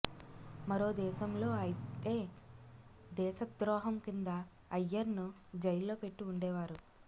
మరో దేశంలో అయతే దేశద్రోహం కింద అయ్యర్ను జైల్లో పెట్టి ఉండేవారు